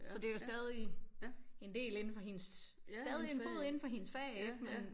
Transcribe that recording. Så det jo stadig en del inde for hendes stadig en fod inden for hendes fag ikke men